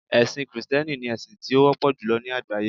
ẹsìn Kristẹni ni esin ti o wọpọ julọ ni àgbáyé